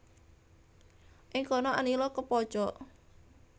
Ing kono Anila kepojok